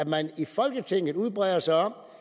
man i folketinget udbreder sig om